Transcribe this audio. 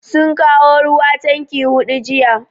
Sun kawo ruwa tanki hudu jiya.